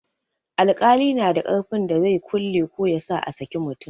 Alƙali na da ƙarfin da zai kulle ko yasa a saki mutum.